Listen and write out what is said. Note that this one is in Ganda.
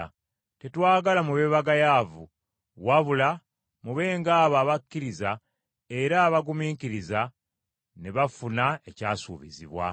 Tetwagala mube bagayaavu, wabula mube ng’abo abakkiriza era abagumiikiriza ne bafuna ekyasuubizibwa.